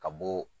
Ka bɔ